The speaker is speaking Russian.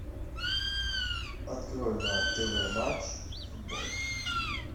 открой на тв матч футбол